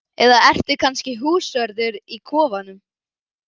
Eða ertu kannski húsvörður í kofanum?